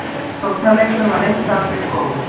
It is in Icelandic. Sóknarleikurinn var lengst af mjög góður